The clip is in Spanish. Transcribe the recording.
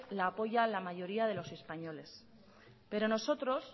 la apoya la mayoría de los españoles pero nosotros